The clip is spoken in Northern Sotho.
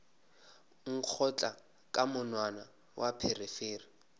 nkgotla ka monwana wa pherefere